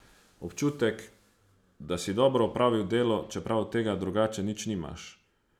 Občutek, da si dobro opravil delo, čeprav od tega drugače nič nimaš.